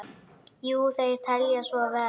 Jú, þeir telja svo vera.